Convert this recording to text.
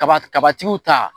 Kaba kabatigiw ta